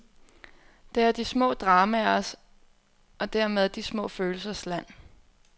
Det er de små dramaers og dermed de små følelsers land.